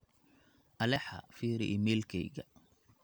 alexa firi iimaylkeyga